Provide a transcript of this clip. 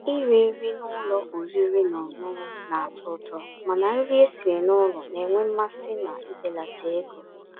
Írì nrí n'ụ́lọ̀ ọ̀rị́rị́ ná ọ̀ṅụ̀ṅụ̀ ná-àtọ́ ụ̀tọ́, mànà nrí èsirí n'ụ́lọ̀ ná-ènwé mmàsí ná íbèlàtà égó.